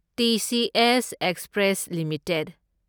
TCS express limited